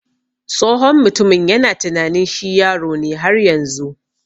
Tsohon mutumin yana tunanin shi yaro ne har yanzu.